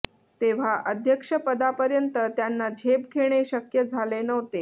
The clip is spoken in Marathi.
तेव्हा अध्यक्षपदापर्यंत त्यांना झेप घेणे शक्य झाले नव्हते